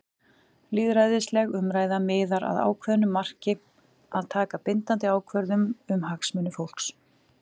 Lýðræðisleg umræða miðar að ákveðnu marki- að taka bindandi ákvörðun um hagsmuni fólks.